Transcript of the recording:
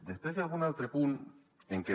després hi ha algun altre punt en què